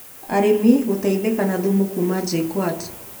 Arĩmi gũteithĩka na thumu kuuma JKUAT